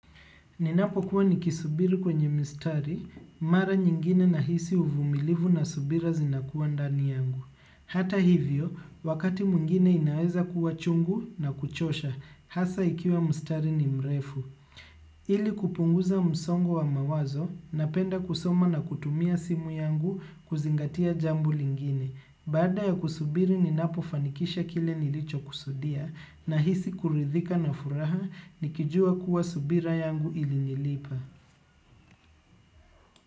Ninapo kuwa nikisubiri kwenye mistari mara nyingine nahisi uvumilivu na subira zinakuwa ndani yangu. Hata hivyo wakati mwingine inaweza kuwa chungu na kuchosha, hasa ikiwa mstari ni mrefu. Ili kupunguza msongo wa mawazo, napenda kusoma na kutumia simu yangu kuzingatia jambo lingine. Baada ya kusubiri ninapofanikisha kile nilicho kusudia nahisi kuridhika na furaha nikijua kuwa subira yangu ili nilipa.